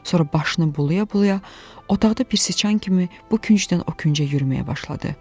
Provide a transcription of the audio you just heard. Sonra başını bulaya-bulaya otaqda bir siçan kimi bu küncdən o küncə yürüməyə başladı.